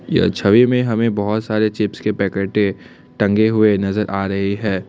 यह छवि में हमें बहोत सारे चिप्स के पैकेट टंगे हुए नजर आ रहे हैं।